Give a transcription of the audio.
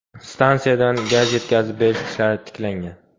Stansiyadan gaz yetkazib berish ishlari tiklangan.